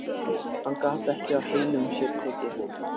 Hann gat ekki á heilum sér tekið.